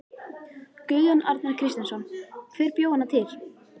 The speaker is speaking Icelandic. Guðjón Arnar Kristjánsson: Hver bjó hana til?